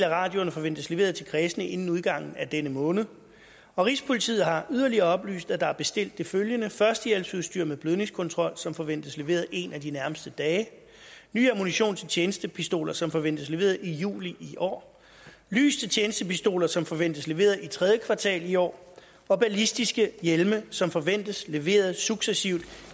af radioerne forventes leveret til kredsene inden udgangen af denne måned og rigspolitiet har yderligere oplyst at der er bestilt det følgende førstehjælpsudstyr med blødningskontrol som forventes leveret en af de nærmeste dage ny ammunition til tjenestepistoler som forventes leveret i juli i år lys til tjenestepistoler som forventes leveret i tredje kvartal i år og ballistiske hjelme som forventes leveret successivt